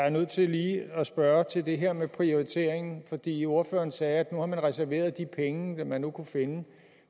er nødt til lige at spørge til det her med prioriteringen fordi ordføreren sagde at man har reserveret de penge man nu kunne finde